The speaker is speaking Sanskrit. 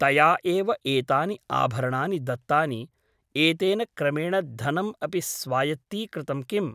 तया एव एतानि आभरणानि दत्तानि एतेन क्रमेण धनम् अपि स्वायत्तीकृतं किम् ?